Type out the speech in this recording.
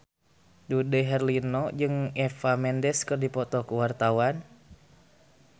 Dude Herlino jeung Eva Mendes keur dipoto ku wartawan